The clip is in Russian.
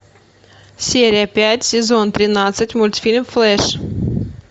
серия пять сезон тринадцать мультфильм флэш